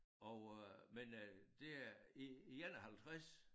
Og øh men øh det øh i i 51